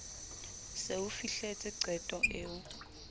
se o fihletse qeto eo